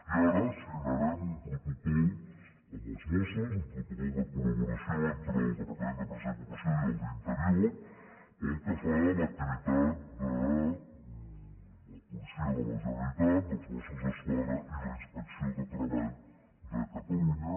i ara signarem un protocol amb els mossos un protocol de col·laboració entre el departament d’empresa i ocupació i el d’interior pel que fa a l’activitat de la policia de la generalitat dels mossos d’esquadra i la inspecció de treball de catalunya